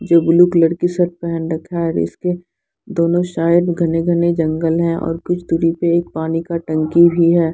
जो पेहन रखा है और उसके दोनों साइड घने घने जंगल है और कुछ दूरी पे एक पानी का टंकी भी है।